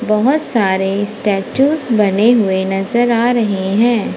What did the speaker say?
बहोत सारे स्टेच्यूज बने हुए नजर आ रहे है।